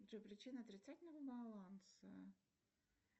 джой причина отрицательного баланса